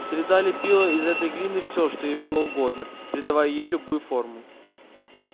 среда лепила из этой глины все что ей было угодно придавая ей любую форму